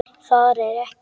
Það er ekki.